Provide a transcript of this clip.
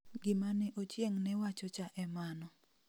gimane ochieng' newachocha e mano